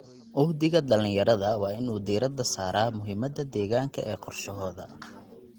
Uhdhigga dhalinyarada waa in uu diiradda saaraa muhiimada deegaanka ee qorshahooda.